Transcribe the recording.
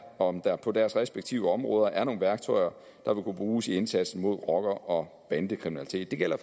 om der på deres respektive områder er nogle værktøjer der vil kunne bruges i indsatsen mod rocker og bandekriminalitet det gælder